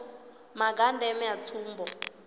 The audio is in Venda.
maga a ndeme a tsumbo